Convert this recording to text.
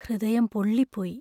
ഹൃദയം പൊള്ളിപ്പോയി.